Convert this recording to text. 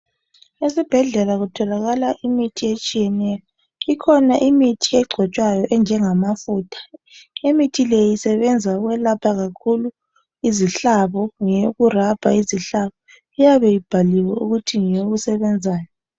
Esibhedlela kutholakala imithi etshiyeneyo ikhona imithi egcotshwayo enjengamafutha imithi leyi isebenza ukwelapha kakhulu izihlabo ngeyoku rabha izihlabo iyabe ibhaliwe ukuthi ngeyokusebenzani.